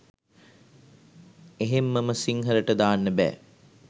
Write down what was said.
එහෙම්ම ම සිංහලට දාන්න බෑ